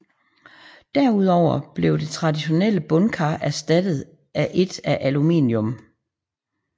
Derudover blev det traditionelle bundkar erstattet af et af aluminium